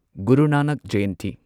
Guru Nanak Jayanti